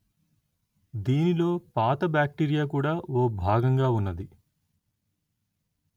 దీనిలో పాత బాక్టీరియా కూడా ఓ భాగంగా ఉన్నది